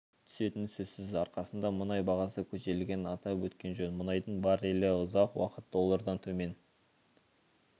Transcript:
түсетіні сөзсіз арқасында мұнай бағасы көтерілгенін атап өткен жөн мұнайдың баррелі ұзақ уақыт доллардан төмен